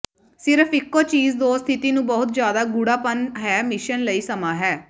ਸਿਰਫ ਇਕੋ ਚੀਜ ਜੋ ਸਥਿਤੀ ਨੂੰ ਬਹੁਤ ਜ਼ਿਆਦਾ ਗੂਡ਼ਾਪਨ ਹੈ ਮਿਸ਼ਨ ਲਈ ਸਮਾਂ ਹੈ